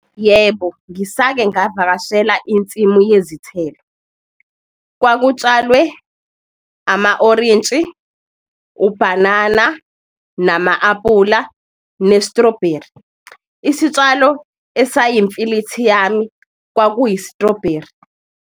Yebo, ngisake ngavakashela insimu yezithelo, kwakutshalwe ama-orintshi, ubhanana nama-apula, ne-strawberry, isitshalo esayimfilithi yami kwakuyi-strawberry.